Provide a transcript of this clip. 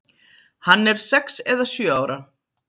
Hann er sex eða sjö ára.